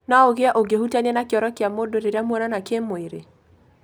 No ũgie ũngĩhutania na kĩoro kĩa mũndũ rĩrĩa muonana kĩmwĩrĩ.